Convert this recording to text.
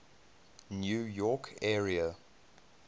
new york area